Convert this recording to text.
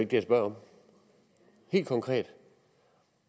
jeg spørger helt konkret